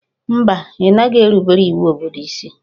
Mba, ị naghị erubere iwu obodo isi